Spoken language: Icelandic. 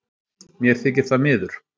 Mér þykir það miður